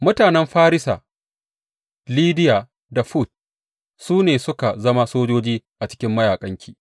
Mutanen Farisa, Lidiya da Fut su ne suka zama sojoji a cikin mayaƙanki.